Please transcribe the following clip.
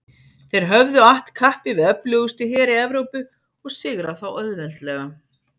Þeir höfðu att kappi við öflugustu heri Evrópu og sigrað þá auðveldlega.